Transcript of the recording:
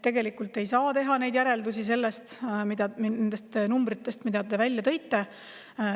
Tegelikult ei saa teha neid järeldusi nendest numbritest, mille te välja tõite.